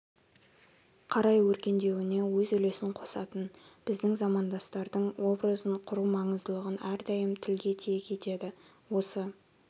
қарай өркендеуіне өз үлесін қосатын біздің замандастардың образын құру маңыздылығын әрдайым тілге тиек етеді осы